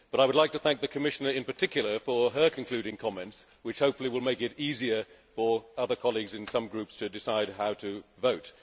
I should therefore like to thank the Commissioner in particular for her concluding comments, which hopefully will make it easier for some colleagues in other groups to decide how to vote.